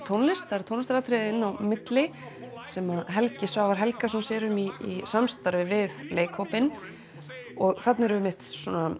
tónlist það eru tónlistaratriði inn á milli sem Helgi Svavar Helgason sér um í samstarfi við leikhópinn þarna eru einmitt